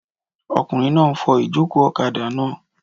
Ọkùnrin náà n fọ ìjòkó ọ̀kadà náà